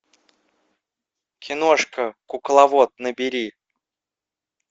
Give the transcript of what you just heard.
киношка кукловод набери